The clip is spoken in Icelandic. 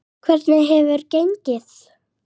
Hvernig hefur gengið?